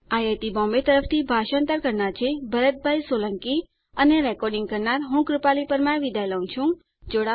IIT Bombay તરફથી ભાષાંતર કરનાર હું ભરત સોલંકી વિદાય લઉં છું